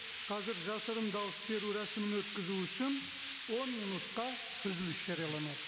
қазір жасырын дауыс беру рәсімін өткізу үшін он минутқа үзіліс жарияланады